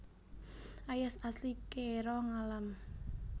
Ayas asli kèra ngalam